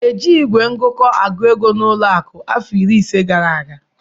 E jighị igwe ngụkọ agụ ego n'ụlọ akụ afọ iri ise gara aga.